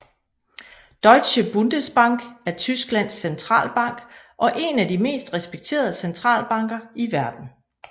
Deutsche Bundesbank er Tysklands centralbank og en af de mest respekterede centralbanker i verden